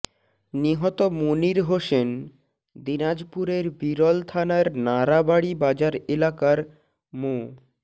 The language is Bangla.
নিহত মনির হোসেন দিনাজপুরের বিরল থানার নারাবাড়ি বাজার এলাকার মো